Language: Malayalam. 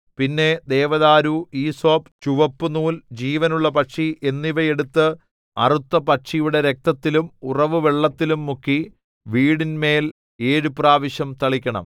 പിന്നെ ദേവദാരു ഈസോപ്പ് ചുവപ്പുനൂൽ ജീവനുള്ള പക്ഷി എന്നിവ എടുത്ത് അറുത്ത പക്ഷിയുടെ രക്തത്തിലും ഉറവുവെള്ളത്തിലും മുക്കി വീടിന്മേൽ ഏഴു പ്രാവശ്യം തളിക്കണം